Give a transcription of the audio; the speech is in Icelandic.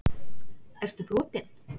Ertu brotinn??!